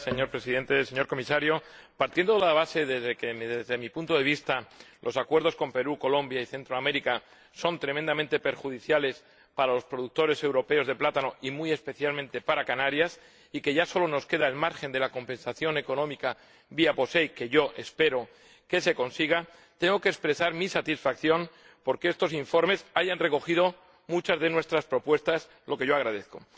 Señor Presidente, señor Comisario, partiendo de la base de que, desde mi punto de vista, los acuerdos con Perú, Colombia y Centroamérica son tremendamente perjudiciales para los productores europeos de plátano, y muy especialmente para Canarias, y que ya solo nos queda el margen de la compensación económica vía POSEI, que yo espero que se consiga, tengo que expresar mi satisfacción por que estos informes hayan recogido muchas de nuestras propuestas, lo que yo agradezco.